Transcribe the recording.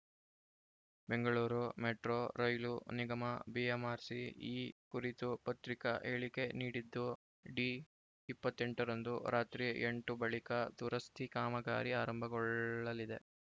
Bengaluru metro rail ನಿಗಮಬಿಎಂಆರ್‌ಸಿ ಈ ಕುರಿತು ಪತ್ರಿಕಾ ಹೇಳಿಕೆ ನೀಡಿದ್ದು ಡಿ ಇಪ್ಪತ್ತ್ ಎಂಟರಂದು ರಾತ್ರಿ ಎಂಟು ಬಳಿಕ ದುರಸ್ತಿ ಕಾಮಗಾರಿ ಆರಂಭಗೊಳ್ಳಲಿದೆ